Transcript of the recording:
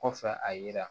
Kɔfɛ a yira